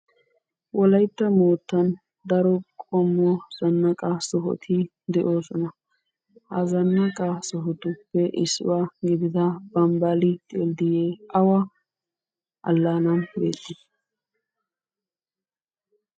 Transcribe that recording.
Wolaytta moottan daro qommo zannaqa sohoti de'oosona. Ha zannaqa sohotuppe issuwa gidida bambbali dilddiye awa alanan beetti?